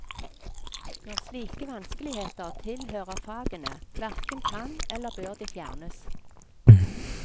Når slike vanskeligheter tilhører fagene, hverken kan eller bør de fjernes.